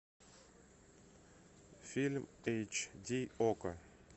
фильм эйч ди окко